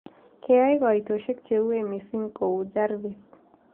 Keyaai kaiitosiek cheuuwen miiising' kou jarvis